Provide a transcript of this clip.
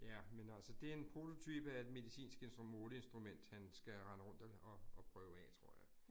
Ja, men altså det en prototype af et medicinsk måleinstrument, han skal rende rundt og og prøve af tror jeg